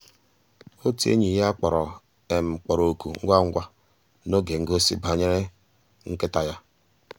ótú ényí yá kpọ̀rọ́ kpọ̀rọ́ òkụ́ ngwá ngwá n'ògé ngósì bànyéré nkị́tá yá.